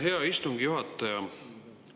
Hea istungi juhataja!